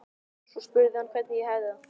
Svo spurði hann hvernig ég hefði það.